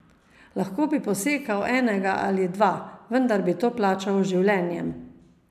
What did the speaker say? Lahko bi posekal enega ali dva, vendar bi to plačal z življenjem.